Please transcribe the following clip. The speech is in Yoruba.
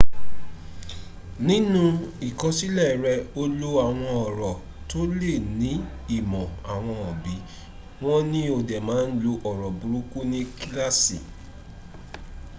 ninu ikosile re o lo awon oro to le ni imo awon obi won ni o de ma n lo oro buruku ni kilaasi